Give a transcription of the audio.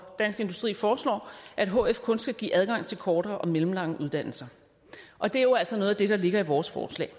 dansk industri foreslår at hf kun skal give adgang til kortere og mellemlange uddannelser og det er jo altså noget af det der ligger i vores forslag